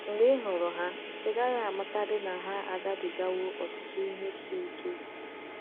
mgbe ịhụrụ ha, ị gaghị amatadị na ha agabi ga wo ọtụtụ ihe isi ike.